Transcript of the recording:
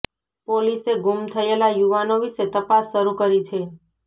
પોલીસે ગૂમ થયેલા યુવાનો વિશે તપાસ શરૂ કરી છે